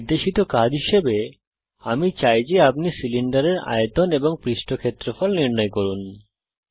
একটি নির্দেশিত কাজ হিসাবে আমি চাই যে আপনি সিলিন্ডারের আয়তন এবং পৃষ্ঠ ক্ষেত্রফল নির্ণয় করুন